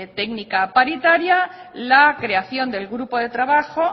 técnica paritaria la creación del grupo de trabajo